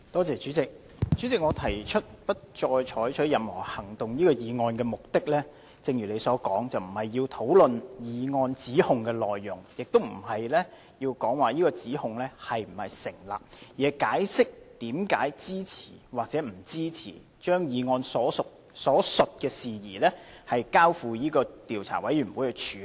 主席，我提出不再採取任何行動議案的目的，正如主席所說，並非要討論譴責議案指控的內容，亦不是要討論這指控是否成立，而是解釋為何支持或不支持把議案所述的事宜，交付調查委員會處理。